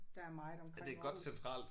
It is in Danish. Der er meget omkring Aarhus